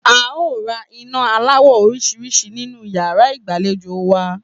A óò ra iná aláwò̩ orís̩rís̩i sínú yàrá ìgbàlejò wa